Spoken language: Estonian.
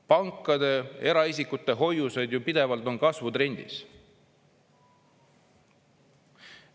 Pankades eraisikute hoiuseid on ju pidevalt kasvutrendis.